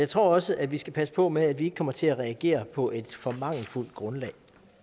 tror også at vi skal passe på med at vi ikke kommer til at reagere på et for mangelfuldt grundlag